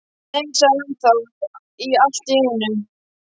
Nei sagði hann þá allt í einu.